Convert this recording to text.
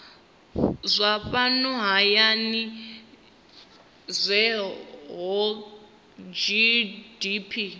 zwa fhano hayani zwohe gdp